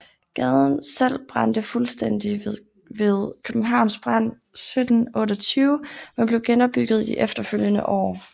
Gaden selv brændte fuldstændigt ved Københavns brand 1728 men blev genopbygget i de efterfølgende år